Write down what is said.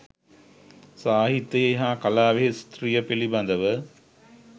සාහිත්‍යයෙහි හා කලාවෙහි ස්ත්‍රිය පිළිබඳව